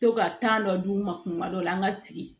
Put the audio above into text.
To ka dɔ d'u ma kuma dɔ la an ka sigi